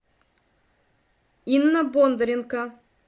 инна бондаренко